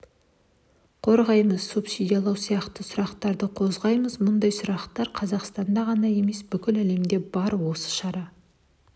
қорғаймыз субсидиялау сияқты сұрақтарды қозғаймыз мұндай сұрақтар қазақстанда ғана емес бүкіл әлемде бар осы шара